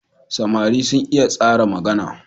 Samari sun iya tsara magana.